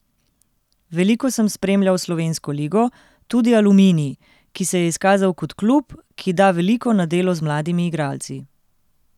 Veliko sem spremljal slovensko ligo, tudi Aluminij, ki se je izkazal kot klub, ki da veliko na delo z mladimi igralci.